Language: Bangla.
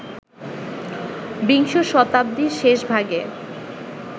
বিংশ শতাব্দীর শেষভাগে